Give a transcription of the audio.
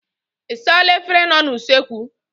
Ị saala efere nọ n'usekwu?